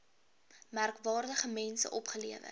merkwaardige mense opgelewer